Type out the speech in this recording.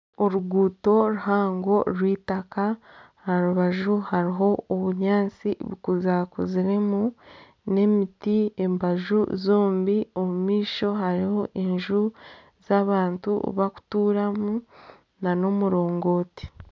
Oruguuto ruhango rw'eitaka, aha rubaju harimu obunyaatsi buzire kuziremu, n'emiti embaju zombi omu maisho harimu enju ezi abantu barikuturamu nana omurongooti